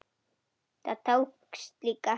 Það tókst líka.